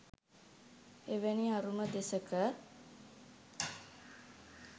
එවැනි අරුම දෙසක